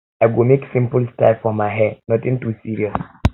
i go make simple style for my hair nothing too serious